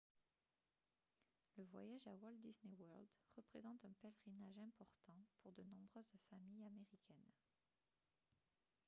le voyage à walt disney world représente un pèlerinage important pour de nombreuses familles américaines